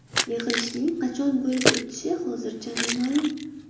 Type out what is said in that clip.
Yig‘ilishning qachon bo‘lib o‘tishi hozircha noma’lum.